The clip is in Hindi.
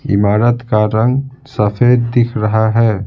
इमारत का रंग सफेद दिख रहा है।